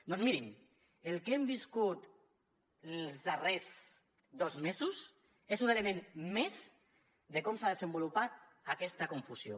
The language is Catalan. doncs mirin el que hem viscut els darrers dos mesos és un element més de com s’ha desenvolupat aquesta confusió